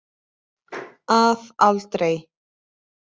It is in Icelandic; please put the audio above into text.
Að aldrei.